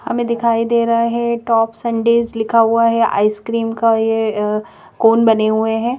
हमें दिखाई दे रहा है टॉप संडेस लिखा हुआ है आइसक्रीम का ये कोन बने हुए हैं।